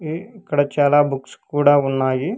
ఇక్కడ చాలా బుక్స్ కూడా ఉన్నాయి.